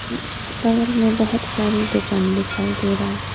म बगल में बहुत सारी दुकान दिखाई दे रहा है।